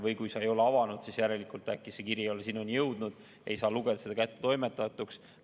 Kui sa ei ole e-kirja avanud, siis järelikult äkki see kiri ei ole sinuni jõudnud ja ei saa lugeda seda kättetoimetatuks.